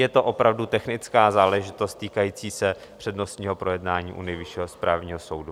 Je to opravdu technická záležitost týkající se přednostního projednání u Nejvyššího správního soudu.